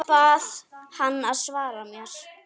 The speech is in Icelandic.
Bað hana að svara mér.